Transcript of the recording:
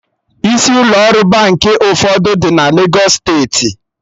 Isi ụlọ ọrụ Baankị ụfọdụ dị na Legos steeti